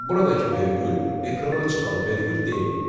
Buradakı vergül ekrana çıxan vergül deyil.